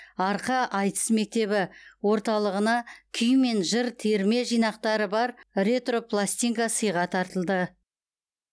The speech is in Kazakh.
арқа айтыс мектебі орталығына күй мен жыр терме жинақтары бар ретро пластинка сыйға тартылды